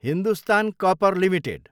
Hindustan copper Ltd